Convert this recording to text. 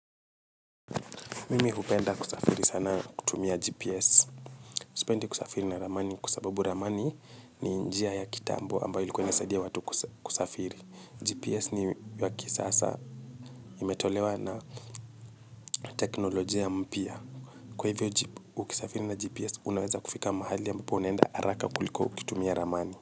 Mimi hupenda kusafiri sana kutumia GPS. Sipendi kusafiri na ramani kwasababu ramani ni njia ya kitambo ambayo ilikua inasadia watu kusafiri. GPS ni yaki sasa imetolewa na teknolojia mpya. Kwa hivyo ukisafiri na GPS unaweza kufika mahali ambapo unaenda haraka kuliko kutumia ramani.